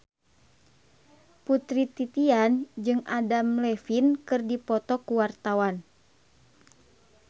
Putri Titian jeung Adam Levine keur dipoto ku wartawan